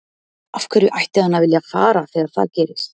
Af hverju ætti hann að vilja fara þegar það gerist?